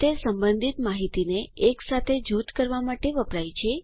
તે સંબંધિત માહિતીને એકસાથે જૂથ કરવા માટે વપરાય છે